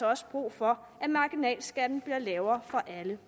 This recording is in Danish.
også brug for at marginalskatten bliver lavere for alle